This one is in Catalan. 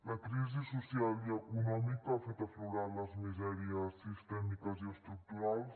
la crisi social i econòmica ha fet aflorar les misèries sistèmiques i estructurals